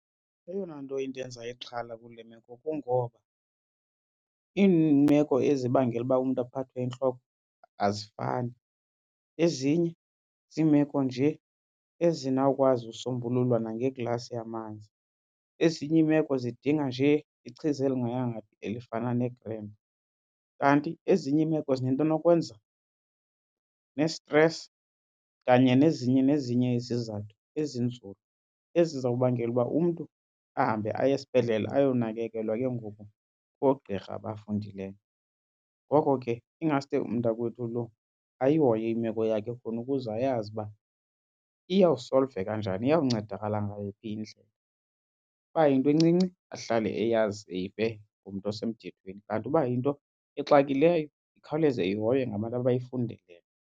Eyona nto indenza ixhala kule meko kungoba iimeko ezibangela uba umntu aphathwe yintloko azifani. Ezinye ziimeko nje ezinawukwazi usombululwa nangeglasi yamanzi. Ezinye iimeko zidinga nje ichiza elingayanga phi elifana neGrand-Pa. Kanti ezinye iimeko zinento nokwenza ne-stress kanye nezinye nezinye izizathu ezinzulu ezizawubangela uba umntu ahambe aye esibhedlele ayonakekelwa ke ngoku ngoogqirha abafundileyo. Ngoko ke ingaske umntakwethu lo ayihoye imeko yakhe khona ukuze ayazi uba iyawusolveka njani, iyawuncedakala ngayi phi indlela. Uba yinto encinci ahlale eyazi eyive ngomntu osemthethweni, kanti uba yinto exakileyo ikhawuleze ihoywe ngabantu abayifundeleyo.